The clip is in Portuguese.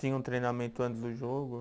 Tinha um treinamento antes do jogo?